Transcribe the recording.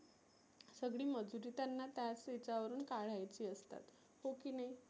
सगळी मजुरी त्यांना त्याच ह्या च्या वरुण काढायची असतात. हो की नाही